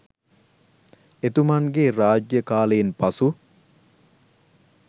එතුමන්ගේ රාජ්‍ය කාලයෙන් පසු